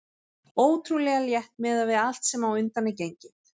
Ótrúlega létt miðað við allt sem á undan er gengið.